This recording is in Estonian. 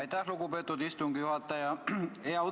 Aitäh, lugupeetud istungi juhataja!